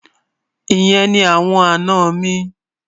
Ìyẹn ni awọn àná mi.